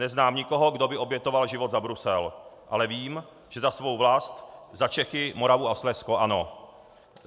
Neznám nikoho, kdo by obětoval život za Brusel, ale vím, že za svou vlast, za Čechy, Moravu a Slezsko, ano.